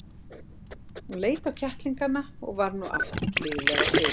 Hún leit á kettlingana og varð nú aftur blíðleg á svipinn.